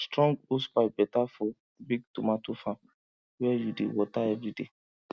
strong hosepipe better for big tomato farm where you dey water every day